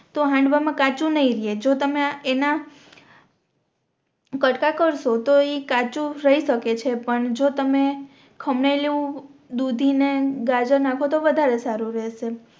તો હાંડવામાં કાચું નઇ રે જો તમે એના કટકા કરશુ તો ઇ કાચું રહી શકે છે પણ જો તમે ખમણેલું દૂધી ને ગાજર નાખો તો વધારે સારું રેહશે